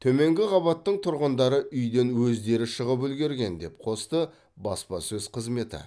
төменгі қабаттың тұрғындары үйден өздері шығып үлгерген деп қосты баспасөз қызметі